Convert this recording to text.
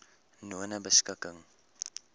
nonebeskikking